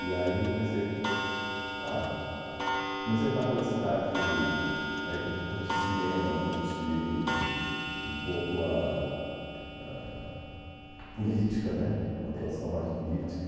E aí comecei a comecei a andar pela cidade ai curti cinema, curti um pouco ah a política, uma atuação mais política.